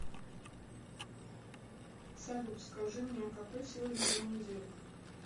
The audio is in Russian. салют скажи мне а какой сегодня день недели